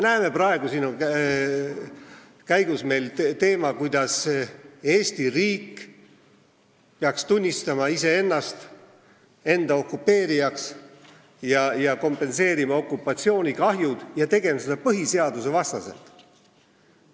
Praegu on kõne all teema, kuidas Eesti riik peaks tunnistama iseennast enda okupeerijaks, kompenseerima okupatsioonikahjud ja tegema seda põhiseadusvastaselt.